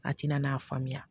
A tɛna n'a faamuya